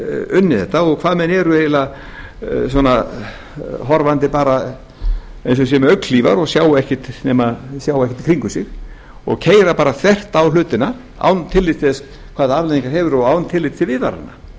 unnið þetta og hvernig menn eru horfandi eins og það sé með augnhlífar og sjá ekki í kringum sig og keyra þvert á hlutina án tillits til hvaða afleiðingar það hefur og án tillits til viðvarana